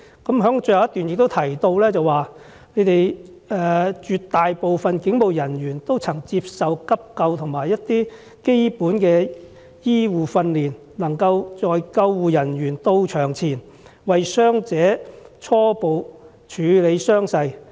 他在最後一段更提到，"絕大部分警務人員都曾接受急救和一些基本的醫護訓練，能夠在救護人員到場前，為傷者初步處理傷勢"。